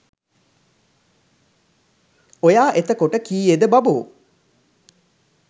ඔයා එතකොට කීයේද බබෝ